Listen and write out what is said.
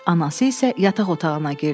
Anası isə yataq otağına girdi.